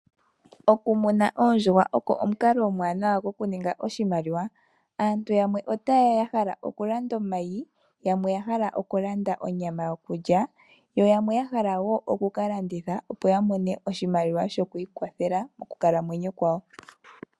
Okumuna oondjuhwa oko omukalo omwanawa goku ninga oshimaliwa. Aantu yamwe ota yeya yahala okulanda omayi, yamwe oya hala okulanda onyama yokulya, yo yamwe yahala woo oku kalanditha opo yamone oshimaliwa shokwiikwathela mokukalamwenyo kwawo.